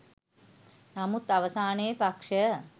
නමුත් අවසානයේ පක්ෂය